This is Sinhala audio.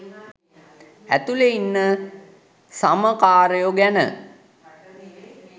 ඇතුලෙ ඉන්න සම කාරයො ගැන.